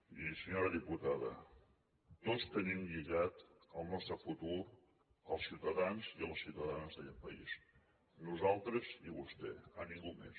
i senyora diputada tots tenim lligat el nostre futur als ciutadans i a les ciutadanes d’aquest país nosaltres i vostè a ningú més